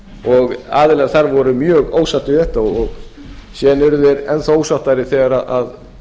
ljósara aðilar þar voru mjög ósáttir við þetta síðan urðu þeir enn þá ósáttari þegar